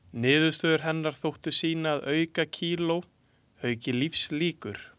Niðurstöður hennar þóttu sýna að aukakíló auki lífslíkur.